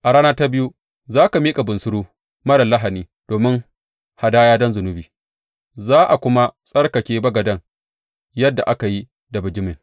A rana ta biyu za ka miƙa bunsuru marar lahani domin hadaya don zunubi, za a kuma tsarkake bagaden yadda aka yi da bijimin.